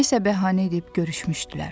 Nəyisə bəhanə edib görüşmüşdülər.